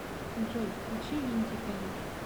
джой включи винтика лиф